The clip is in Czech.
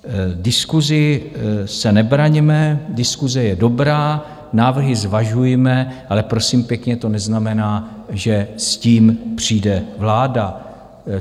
Diskusi se nebraňme, diskuse je dobrá, návrhy zvažujme, ale prosím pěkně, to neznamená, že s tím přijde vláda.